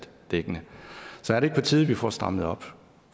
dækkende så er det ikke på tide at vi får strammet op